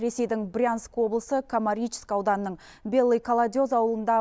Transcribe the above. ресейдің брянск облысы комаричск ауданының белый колодезь ауылында